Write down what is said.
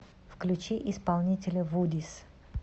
включи исполнителя вудис